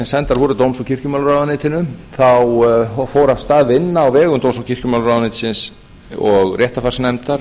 sendar voru dóms og kirkjumálaráðuneytinu þá fór af stað vinna á vegum dóms og kirkjumálaráðuneytisins og réttarfarsnefndar